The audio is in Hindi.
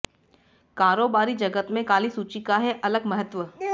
कारोबारी जगत में काली सूची का है अलग महत्त्व